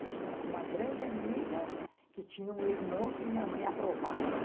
Eu tinha uma grande amiga que tinha um irmão que minha mãe aprovava.